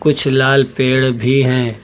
कुछ लाल पेड़ भी हैं।